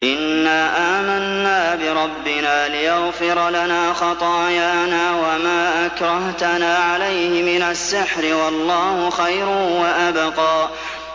إِنَّا آمَنَّا بِرَبِّنَا لِيَغْفِرَ لَنَا خَطَايَانَا وَمَا أَكْرَهْتَنَا عَلَيْهِ مِنَ السِّحْرِ ۗ وَاللَّهُ خَيْرٌ وَأَبْقَىٰ